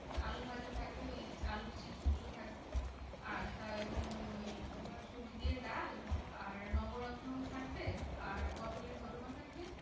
আলুভাজা থাকবে ওই আলুর chips গুলো থাকবে। আর তার উম ওই তোমার সবজি দিয়ে ডাল, আর নবরত্ন থাকবে, আর পটোলের দর্মা থাকবে।